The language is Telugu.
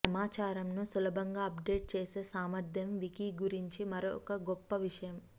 సమాచారమును సులభంగా అప్డేట్ చేసే సామర్ధ్యం వికీ గురించి మరొక గొప్ప విషయం